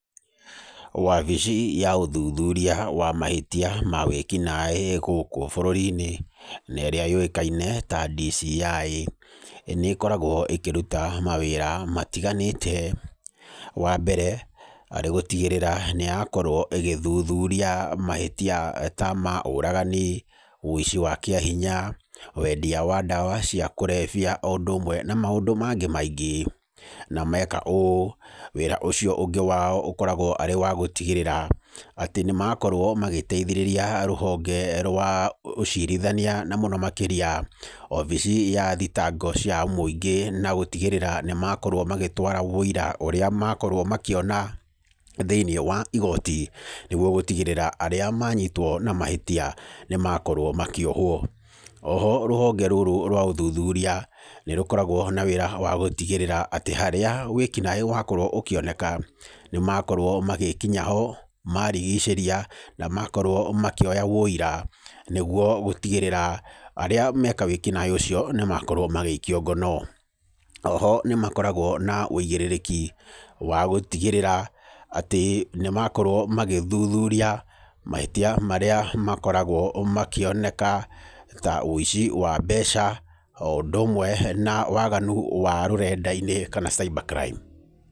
Wabici ya ũthuthuria wa mahĩtia ma wĩki naĩ gũkũ bũrũri-inĩ, na ĩrĩa yũĩkaine ta DCI nĩkoragwo ĩkĩruta mawĩra matiganĩte. Wambere arĩ gũtigĩrĩra nĩyakorwo ĩgĩthuthuria mahĩtia ta ma ũragani, ũici wa kĩahinya wendia wa ndawa cia kũrebia o ũndũ ũmwe na maũndũ mangĩ maingĩ. Na meka ũũ wĩra ũcio ũngĩ wao ũkoragwo arĩ wa gũtigĩrĩra atĩ nĩmakorwo magĩteithia rũhonge rwa ũcirithania na mũno makĩria obici ya thitango cia mũingĩ na gũtigĩrĩra nĩmakorwo magĩtwara ũira ũrĩa makorwo makĩona thĩinĩ wa igoti nĩguo gũtigĩrĩra arĩa manyitwo na mahĩtia nĩmakorwo makĩohwo. Oho rũhonge rũrũ rwa ũthuthuria nĩrũkoragwo na wĩra wa gũtigĩrĩra atĩ harĩa wĩkinaĩ wakorwo ũkĩoneka nĩmakorwo magĩkinya ho marigicĩria na makorwo makĩoya ũira nĩguo gũtigĩrĩra arĩa meka wĩkinaĩ ũcio nĩmakorwo magĩikio ngono. Oho nĩmakoragwo na ũigĩrĩrĩki wa gũtigĩrĩra atĩ nĩmakorwo magĩthuthuria mahĩtia marĩa makorwo makĩoneka ta ũici wa mbeca o ũndũ ũmwe na waganu wa rũrenda-inĩ kana cyber crime.